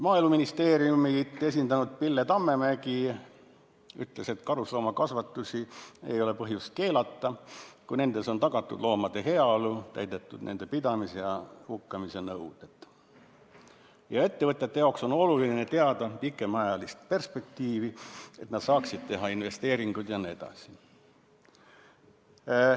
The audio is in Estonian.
Maaeluministeeriumi esindanud Pille Tammemägi ütles, et karusloomakasvandusi ei ole põhjust keelata, kui nendes on tagatud loomade heaolu ning täidetud nende pidamise ja hukkamise nõudeid, ning ettevõtetel on oluline teada pikemaajalist perspektiivi, et nad saaksid teha investeeringuid jne.